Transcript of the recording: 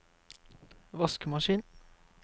vaskemaskin